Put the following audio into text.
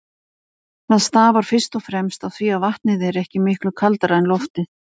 Það stafar fyrst og fremst af því að vatnið er ekki miklu kaldara en loftið.